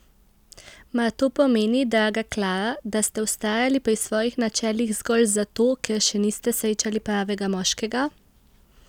Mar to pomeni, draga Klara, da ste vztrajali pri svojih načelih zgolj zato, ker še niste srečali pravega moškega?